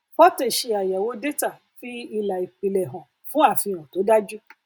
fortay ṣe àyẹwò détà fi ìlà ìpìlè hàn pẹlú àfihàn tó dájú